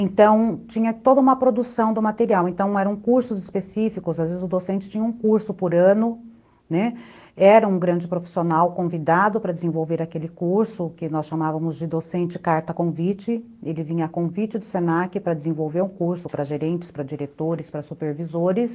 Então tinha toda uma produção do material, então eram cursos específicos, às vezes o docente tinha um curso por ano, né, era um grande profissional convidado para desenvolver aquele curso, que nós chamávamos de docente carta convite, ele vinha a convite do se na que para desenvolver um curso para gerentes, para diretores, para supervisores.